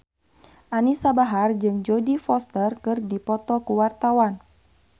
Anisa Bahar jeung Jodie Foster keur dipoto ku wartawan